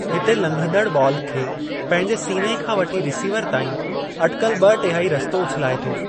हिते, लघंदड़ बॉल खे पंहिंजे सीने खां वठी रिसीवर ताईं अटिकल ब॒ टेहाई रस्तो उछलाए थो।